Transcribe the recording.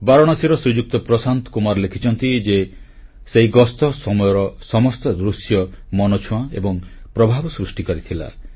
ବାରାଣସୀର ଶ୍ରୀଯୁକ୍ତ ପ୍ରଶାନ୍ତ କୁମାର ଲେଖିଛନ୍ତି ଯେ ସେହି ଗସ୍ତ ସମୟର ସମସ୍ତ ଦୃଶ୍ୟ ମନଛୁଆଁ ଏବଂ ପ୍ରଭାବ ସୃଷ୍ଟିକାରୀ ଥିଲା